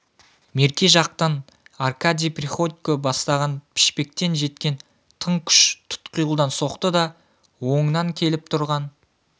мерке жақтан аркадий приходько бастаған пішпектен жеткен тың күш тұтқиылдан соқты да оңынан келіп тұрған